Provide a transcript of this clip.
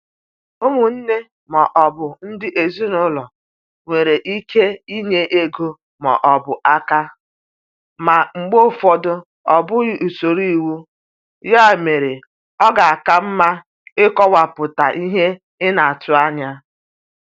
Ụmụnne ma ọ bụ ndị ezinụlọ nwere ike inye ego ma ọ bụ aka, ma mgbe ụfọdụ ọ bụghị usoro iwu, ya mere ọ ka mma ịkọwapụta ihe ị na-atụ anya.